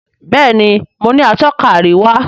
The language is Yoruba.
Béèni mọ ní Atọ́ka àríwá.